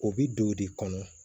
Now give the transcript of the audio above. O bi don de kɔnɔ